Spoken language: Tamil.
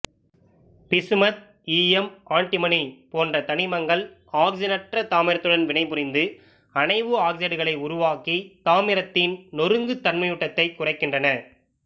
பிசுமத் ஈயம் ஆண்டிமனி போன்ற தனிமங்கள் ஆக்சிசனற்ற தாமிரத்துடன் வினைபுரிந்து அணைவு ஆக்சைடுகளை உருவாக்கி தாமிரத்தின் நொறுங்குதன்மையூட்டத்தைக் குறைக்கின்றன